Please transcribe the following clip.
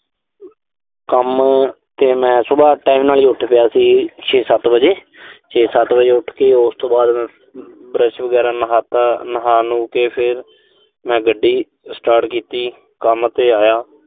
ਕੰਮ ਤੇ ਮੈਂ, ਸੁਬਾਹ time ਨਾਲ ਹੀ ਉਠ ਗਿਆ ਸੀ ਛੇ-ਸੱਤ ਵਜੇ। ਛੇ-ਸੱਤ ਵਜੇ ਉਠ ਕੇ, ਉਸ ਤੋਂ ਬਾਅਦ ਮੈਂ। brush ਵਗੈਰਾ, ਨਹਾਤਾ। ਨਹਾ-ਨਹੂ ਕੇ ਫਿਰ ਮੈਂ ਗੱਡੀ start ਕੀਤੀ। ਕੰਮ ਤੇ ਆਇਆ।